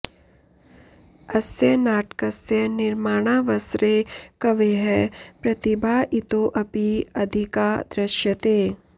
अस्य नाटकस्य निर्माणावसरे कवेः प्रतिभा इतोऽपि अधिका दृश्यते